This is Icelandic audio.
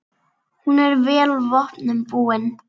Hún er vel vopnum búin.